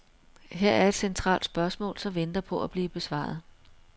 Her er et centralt spørgsmål, som venter på at blive besvaret.